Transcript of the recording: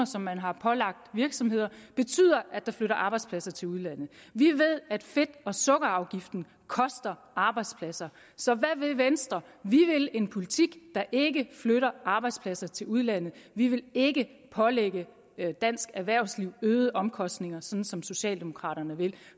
som man har pålagt virksomheder betyder at der flytter arbejdspladser til udlandet vi ved at fedt og sukkerafgiften koster arbejdspladser så hvad vil venstre vi vil en politik der ikke flytter arbejdspladser til udlandet vi vil ikke pålægge dansk erhvervsliv øgede omkostninger sådan som socialdemokraterne vil